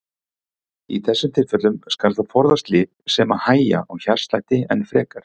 Í þessum tilfellum skal þó forðast lyf sem hægja á hjartslætti enn frekar.